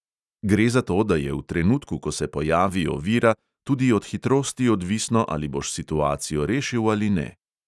Gre za to, da je v trenutku, ko se pojavi ovira, tudi od hitrosti odvisno, ali boš situacijo rešil ali ne.